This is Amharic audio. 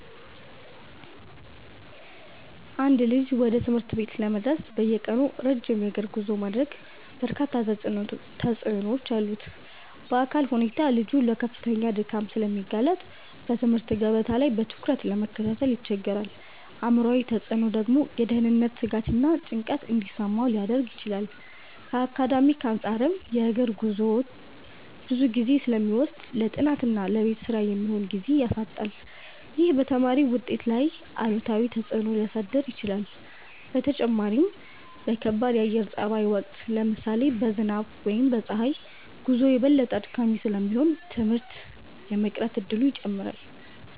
አንድ ልጅ ወደ ትምህርት ቤት ለመድረስ በየቀኑ ረጅም የእግር ጉዞ ማድረጉ በርካታ ተጽዕኖዎች አሉት። በአካላዊ ሁኔታ ልጁ ለከፍተኛ ድካም ስለሚጋለጥ በትምህርት ገበታ ላይ በትኩረት ለመከታተል ይቸገራል። አእምሯዊ ተጽዕኖው ደግሞ የደህንነት ስጋትና ጭንቀት እንዲሰማው ሊያደርግ ይችላል። ከአካዳሚክ አንፃርም የእግር ጉዞው ብዙ ጊዜ ስለሚወስድ ለጥናትና ለቤት ስራ የሚሆን ጊዜ ያሳጣዋል። ይህም በተማሪው ውጤት ላይ አሉታዊ ተጽዕኖ ሊያሳድር ይችላል። በተጨማሪም በከባድ የአየር ጸባይ ወቅት (ለምሳሌ በዝናብ ወይም በፀሐይ) ጉዞው የበለጠ አድካሚ ስለሚሆን ትምህርት የመቅረት እድሉን ይጨምራል።